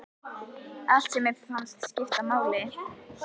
Allt sem mér fannst skipta máli.